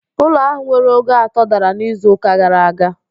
Ụlọ ahụ nwere ogo atọ dara n'izu ụka gara aga